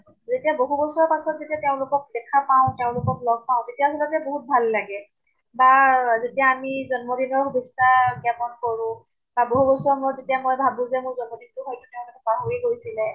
যেতিয়া বহু বছৰ পাছত যেতিয়া তেওঁলোকক দেখা পাওঁ, তেওঁলোকক লগ পাওঁ, তেতিয়া হলে যে বহুত ভাল লাগে। বা আমি যেতিয়া জন্ম দিনৰ সুভেচ্ছা জ্ঞাপন কৰো। বা বহু বছৰৰ মুৰত যেতিয়া মই ভাবো যে মোৰ জন্ম দিন টো হয়্তু তেওঁলোকে পাহৰি গৈছিলে।